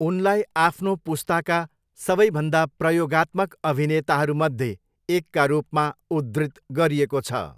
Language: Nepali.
उनलाई आफ्नो पुस्ताका सबैभन्दा प्रयोगात्मक अभिनेताहरूमध्ये एकका रूपमा उद्धृत गरिएको छ।